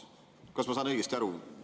Kas ma saan õigesti aru?